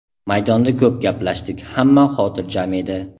Maydonda ko‘p gaplashdik, hamma xotirjam edi.